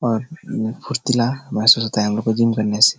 और मम फुर्तीला महसूस होता है हमलोग को जिम करने से।